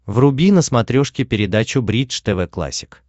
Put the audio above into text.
вруби на смотрешке передачу бридж тв классик